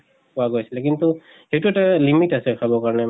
পোৱা গৈছিলে কিন্তু সেইটো এটা limit আছে খাবৰ কাৰণে